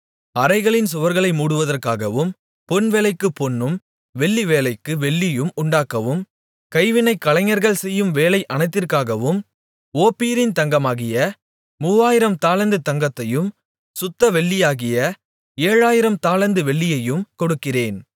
அறைகளின் சுவர்களை மூடுவதற்காகவும் பொன்வேலைக்குப் பொன்னும் வெள்ளிவேலைக்கு வெள்ளியும் உண்டாக்கவும் கைவினைக் கலைஞர்கள் செய்யும் வேலை அனைத்திற்காகவும் ஓப்பீரின் தங்கமாகிய மூவாயிரம் தாலந்து தங்கத்தையும் சுத்த வெள்ளியாகிய ஏழாயிரம் தாலந்து வெள்ளியையும் கொடுக்கிறேன்